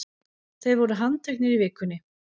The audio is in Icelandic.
Þeir voru handteknir í vikunni